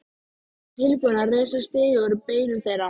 Ég var tilbúinn að reisa stiga úr beinum þeirra.